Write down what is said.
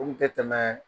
O kun tɛ tɛmɛɛɛ